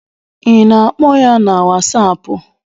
I na-akpọ ya na whasapu?